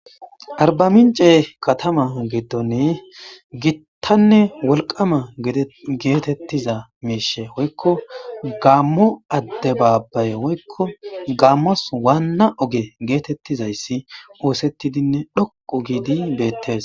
Arba mince katama geetdonne gittanne wolqama geetettiza miishe woykko gaammo adde baabbaye woykko gaammos waanna oge geetettizayssi oosettidinne dhoqo giidi beettees